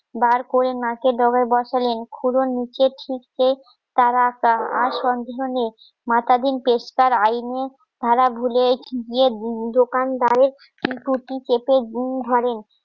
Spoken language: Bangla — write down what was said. বার করে নাকে ডবে বসালেন ক্ষুধা নিচে ছিঁড়তে তারা আর সন্দেহ নেই. মাতাধীন পেশকার আইনের ধারা ভুলে গিয়ে দোকানদারের টুটি চেপে ধরেন